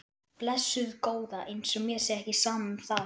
Blessuð góða. eins og mér sé ekki sama um það!